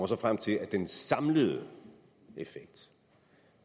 så frem til at den samlede effekt